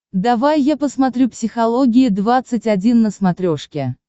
давай я посмотрю психология двадцать один на смотрешке